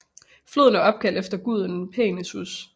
Floden er opkaldt efter guden Peneus